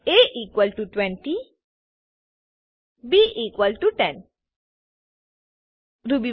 a20 b10 Ruby